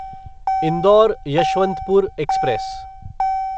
indoor Yeshwantpur express